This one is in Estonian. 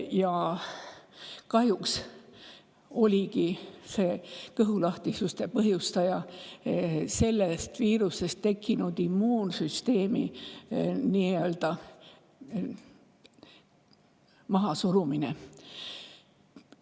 Ja kahjuks oligi kõhulahtisuse põhjustaja sellest viirusest tekkinud immuunsüsteemi.